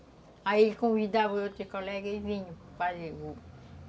Aí ele convidava outro colega e aí vinham